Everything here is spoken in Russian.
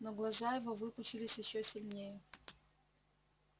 но глаза его выпучились ещё сильнее